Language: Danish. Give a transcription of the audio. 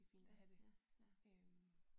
Ja ja ja